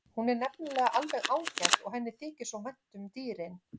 Hún er nefnilega alveg ágæt og henni þykir svo vænt um dýrin.